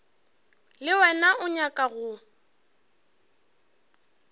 le wena o nyaka go